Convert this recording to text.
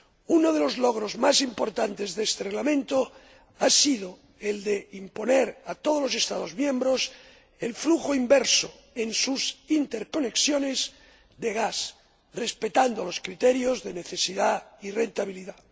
Uno de los logros más importantes de este Reglamento ha sido el de imponer a todos los Estados miembros el flujo inverso en sus interconexiones de gas, respetando los criterios de necesidad y rentabilidad.